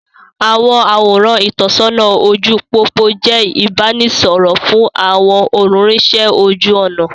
Àwọn àwòrán ìtọ́sọ́nà ojú pópó jẹ ìbánisọọ̀rọ̀ fún àwọn olúrinsẹ́ ojú ọnà.